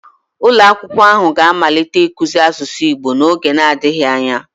ulo akwukwo ahu ga-amalite ikuzi asusu igbo n'oge adighi anya